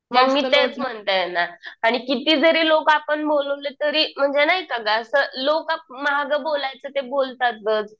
मग मी तेच म्हणतीये ना. आणि किती जरी लोकं आपण बोलवले तरी म्हणजे नाही का गं असं लोकं माघ बोलायचं ते बोलतातच.